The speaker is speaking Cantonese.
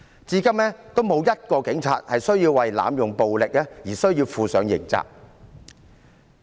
至今仍沒有1名警察需要為濫用暴力而負上刑責。